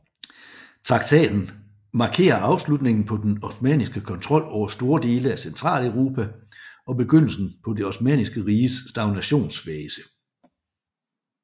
Traktaten markerer afslutningen på den osmanniske kontrol over store dele af Centraleuropa og begyndelsen på det Osmanniske Riges stagnationsfase